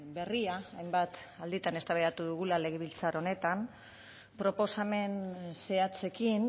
berria hainbat alditan eztabaidatu dugula legebiltzar honetan proposamen zehatzekin